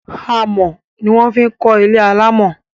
Amọ̀ ní wọ́n fi kọ ilé alámọ̀